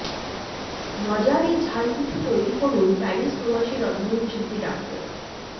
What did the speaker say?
মজার এই ঝাল পিঠা তৈরি করুন প্যারিস প্রবাসী রন্ধনশিল্পী ডা